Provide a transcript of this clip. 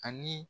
Ani